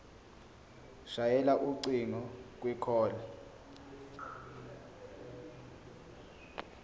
shayela ucingo kwicall